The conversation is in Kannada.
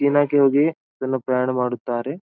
ಈ ನೈಟ್ ಹೋಗಿ ಫುಲ್ ಪ್ರಯಾಣ ಮಾಡುತ್ತಾರೆ.